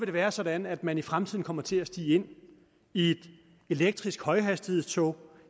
det være sådan at man i fremtiden kommer til at stige ind i et elektrisk højhastighedstog